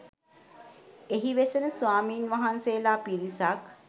එහි වෙසෙන ස්වාමින් වහන්සේලා පිරිසක්